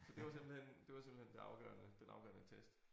Så det var simpelthen det var simpelthen det afgørende den afgørende test